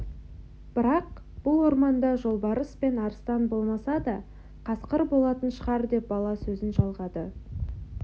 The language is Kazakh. бірақ бұл орманда жолбарыс пен арыстан болмаса да қасқыр болатын шығар деп бала сөзін жалғады